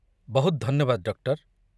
ବହୁତ ଧନ୍ୟବାଦ, ଡକ୍ଟର।